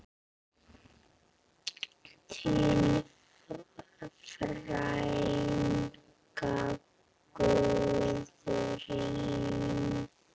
Þín frænka, Guðrún.